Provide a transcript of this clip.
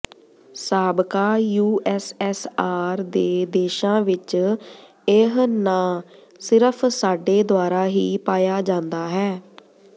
ਸਾਬਕਾ ਯੂਐਸਐਸਆਰ ਦੇ ਦੇਸ਼ਾਂ ਵਿੱਚ ਇਹ ਨਾਂ ਸਿਰਫ ਸਾਡੇ ਦੁਆਰਾ ਹੀ ਪਾਇਆ ਜਾਂਦਾ ਹੈ